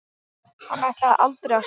Hann ætlaði aldrei að sofna.